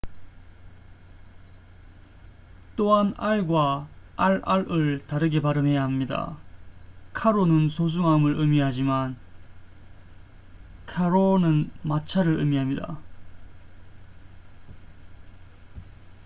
또한 r과 rr을 다르게 발음해야 합니다 caro는 소중함을 의미하지만 carro는 마차를 의미합니다